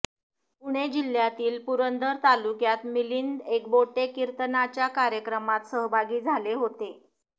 पुणे जिल्ह्यातील पुरंदर तालुक्यात मिलिंद एकबोटे कीर्तनाच्या कार्यक्रमात सहभागी झाले होते